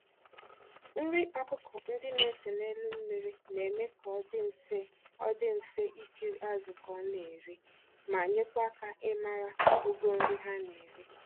Nri ọkụkọ ndị na-ese n'elu mmiri na-eme ka ọ dị mfe ọ dị mfe ikiri azụ ka ọ na-eri, ma nyekwa aka ịmara ogo nri ha n'eri